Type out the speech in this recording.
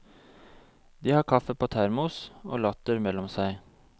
De har kaffe på termos og latter mellom seg.